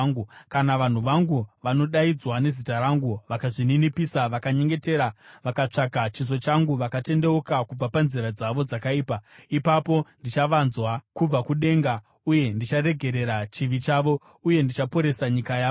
kana vanhu vangu vanodaidzwa nezita rangu, vakazvininipisa, vakanyengetera vakatsvaga chiso changu, vakatendeuka kubva panzira dzavo dzakaipa, ipapo ndichavanzwa kubva kudenga uye ndicharegerera chivi chavo uye ndichaporesa nyika yavo.